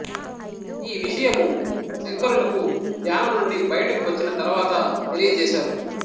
ఈ విషయము శంకరులకు ధ్యానమునుండి బయటకు వచ్చిన తరువాత తెలియజేసారు